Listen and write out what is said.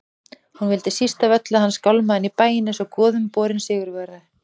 Hún vildi síst af öllu að hann skálmaði inn í bæinn einsog goðumborinn sigurvegari.